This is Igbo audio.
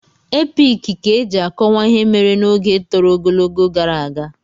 Epiki ka eji akọwa ihe mere n'oge tọrọ ogologo gara aga.